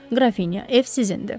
Qrafinya, ev sizindir.